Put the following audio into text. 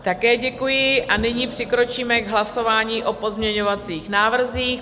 Také děkuji a nyní přikročíme k hlasování o pozměňovacích návrzích.